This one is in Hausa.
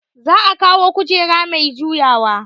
Za a kawo kujera mai juyawa